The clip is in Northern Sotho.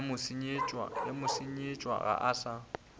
ye motsenyetša ga a sa